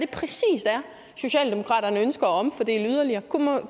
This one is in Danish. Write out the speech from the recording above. socialdemokraterne ønsker at omfordele yderligere